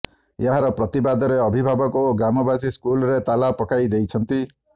ଏହାର ପ୍ରତିବାଦରେ ଅଭିଭାବକ ଓ ଗ୍ରାମବାସୀ ସ୍କୁଲରେ ତାଲା ପକାଇ ଦେଇଛନ୍ତି